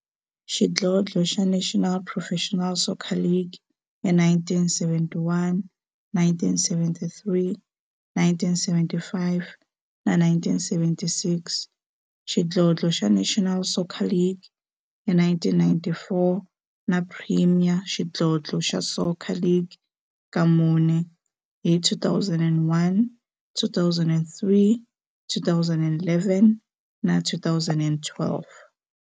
xidlodlo xa National Professional Soccer League hi 1971, 1973, 1975 na 1976, xidlodlo xa National Soccer League hi 1994, na Premier Xidlodlo xa Soccer League ka mune, hi 2001, 2003, 2011 na 2012.